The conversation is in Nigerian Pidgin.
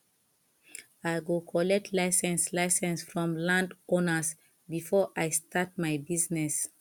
i go collect license license from landowners before i start my business